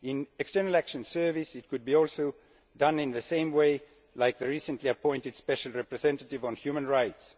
In the External Action Service it could also be done in the same way as the recently appointed Special Representative on Human Rights.